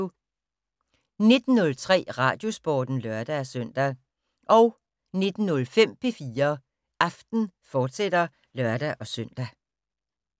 19:03: Radiosporten (lør-søn) 19:05: P4 Aften, fortsat (lør-søn)